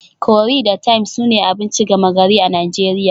Curry da thyme sune abinci gama gari a Najeriya